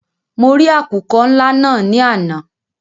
Mọ rì àkùkọ́ ńlá náà ní àná.